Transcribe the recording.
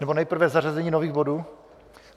Nebo nejprve zařazení nových bodů?